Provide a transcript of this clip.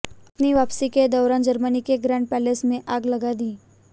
अपनी वापसी के दौरान जर्मनी के ग्रांड पैलेस में आग लगा दी